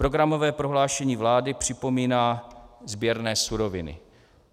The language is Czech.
Programové prohlášení vlády připomíná sběrné suroviny.